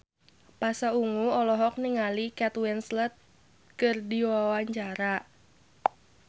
Pasha Ungu olohok ningali Kate Winslet keur diwawancara